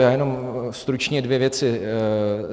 Já jenom stručně dvě věci.